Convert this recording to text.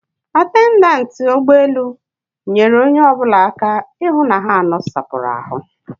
Atendantị ụgbọelu nyere onye ọbụla aka ịhụ na ha nosapụrụ ahụ